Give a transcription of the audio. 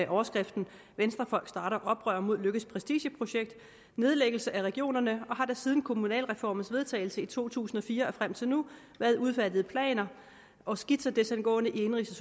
overskriften venstrefolk starter oprør mod løkkes prestigeprojekt nedlæggelse af regionerne og har der siden kommunalreformens vedtagelse i to tusind og fire og frem til nu været udfærdiget planer og skitser desangående i indenrigs